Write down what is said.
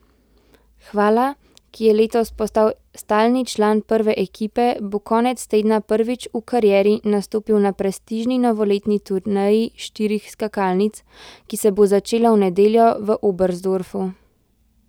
Hvala, ki je letos postal stalni član prve ekipe, bo konec tedna prvič v karieri nastopil na prestižni novoletni turneji štirih skakalnic, ki se bo začela v nedeljo v Oberstdorfu.